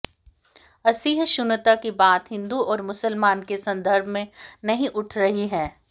असहिष्णुता की बात हिंदू और मुसलमान के संदर्भ में नहीं उठ रही है